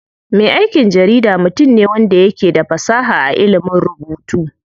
Me aikin jarida mutum ne wanda yake da fasaha a ilimin rubutu.